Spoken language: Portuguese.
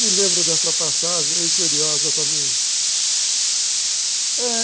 Me lembro dessa passagem, é curiosa também.